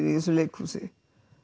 í þessu leikhúsi